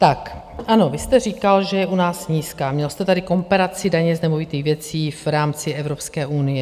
Tak ano, vy jste říkal, že je u nás nízká, měl jste tady komparaci daně z nemovitých věcí v rámci Evropské unie.